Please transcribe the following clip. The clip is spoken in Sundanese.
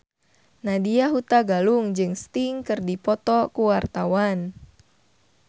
Nadya Hutagalung jeung Sting keur dipoto ku wartawan